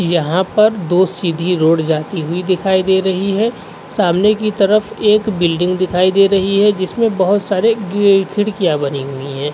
यहा पर दो सीधी रोड जाती हुई दिखाई दे रही है। सामने की तरफ एक बिल्डिग दिखाई दे रही है जिसमे बोहत सारे गे खिड़कियाँ बनी हुई हैं।